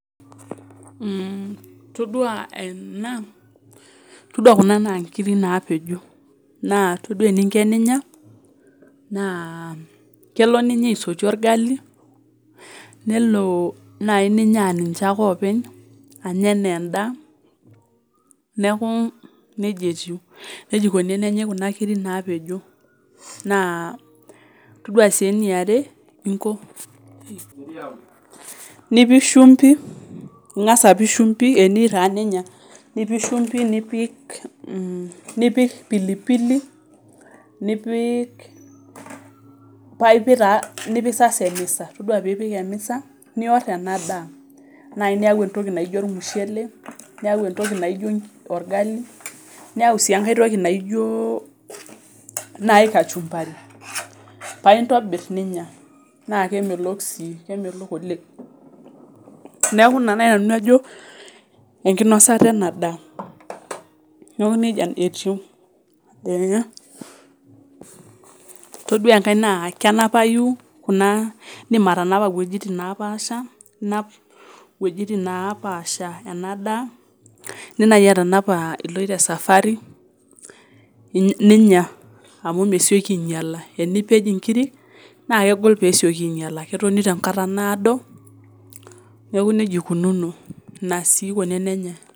Itidua ena, itodua kuna naa inkiri naapejo, naa itodua eniinko teninya kelo nenyai oshi olgali, nelo naii ninya aa ninche ake oopeny, anya enaa endaa neaku neja etiu, neja eikoni tenenyai kuna kiri naapejo, naa itodua sii neare ninko, nipiki shumbi teniyeu taa ninya, nipik shumbi, nipik pilipili nipik sa emisa, ore piipik emisa nior ena daa, naii niyau entoki naijo ilmushele, niyau entokui naijo olgali, niyau sii enkae toki naijo nai kachumbari paa intobirr ninya, naa kemelok sii, kemelok oleng. N aaku neja nai ayeu nanu najo enkinosota ena daa, neaku neja naa etiu. Itodua enkae naa kenapaiyu kunaa indim atanpa wejitin napaasha, inap wejitin napaasha ena daa, indim naii atanapa iloto safari ninya amu meisioki ainyala, enipej inkiri naa kegol peesioki ainyala, ketoni te nkata naodo, naaku neja eikununo ina sii nkuna enyenye.